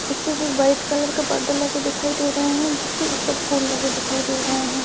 Stage पे white colour का पर्दा लगा दिखाई दे रहा है जिस पे ऊपर फूल लगे दिखाई दे रही है।